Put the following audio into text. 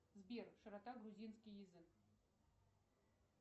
сбер широта грузинский язык